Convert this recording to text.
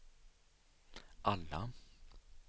alla